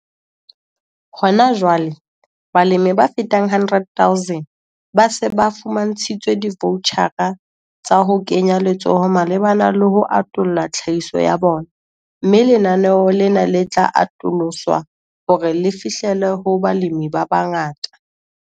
Hona jwale, balemi ba fetang 100 000 ba se ba fumantshitswe divoutjhara tsa ho kenya letsoho malebana le ho atolla tlhahiso ya bona, mme lenaneo lena le tla atoloswa hore le fihlelle ho balemi ba bangata.